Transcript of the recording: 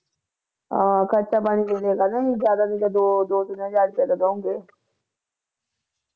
ਆਹ ਖਰਚਾ ਪਾਣੀ ਦੇ ਦੀਆ ਕਰਨਾ ਜਿਆਦਾ ਦੋ ਦੋ ਤਿੰਨ ਹਜ਼ਾਰ ਰੁਪਿਆ ਤਾ ਦੋ ਗੇ